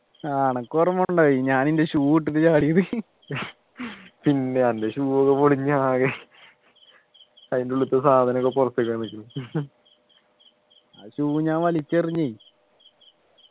ആഹ് അനക്കോർമ ഉണ്ടായി ഞാൻ ഞാൻ എൻ്റെ shoe ഇട്ടിട്ടു ചാടിയത് പിന്നെ അന്ന് shoe ഒക്കെ പൊളിഞ്ഞു ആകെ അതിൻ്റെ ഉള്ളിൽത്തെ സാധനക്കെ പുറത്തേക്ക് വന്ന്ക്ക് ആ shoe ഞാൻ വലിച്ചെറിഞ്ഞു